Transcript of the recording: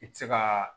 I tɛ se ka